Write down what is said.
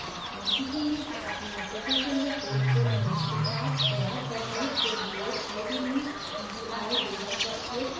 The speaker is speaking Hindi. हम सीखेंगे कि अपने application में code को images के साथ तैयार करने के लिए ide s gui builder का उपयोग कैसे करें